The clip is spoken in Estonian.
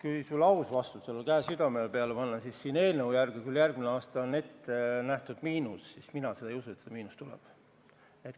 Kui sulle aus vastus anda, siis ütlen kätt südamele pannes, et kui siin seletuskirja järgi on küll järgmisel aastal prognoositav miinus, siis mina ei usu, et see miinus tuleb.